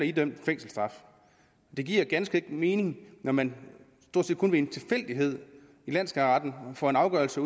idømt fængselsstraf det giver ganske enkelt ikke mening at man stort set kun ved en tilfældighed i landsskatteretten får en afgørelse